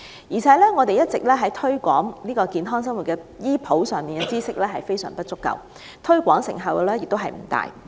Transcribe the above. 而且，在推廣健康生活的醫普知識方面，當局的工作亦一直非常不足，推廣成效也不大。